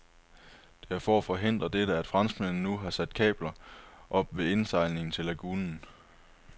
Det er for at forhindre dette, at franskmændene nu har sat kabler op ved indsejlingen til lagunen.